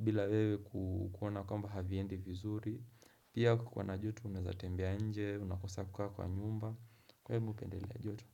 bila kukwona kwamba haviendi vizuri Pia kukiwa na joto unazatembea nje, unakosa kukaa kwa nyumba Kwa hiyo, mimi napendelea joto.